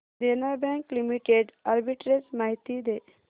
देना bank limited arbitrage माहिती दे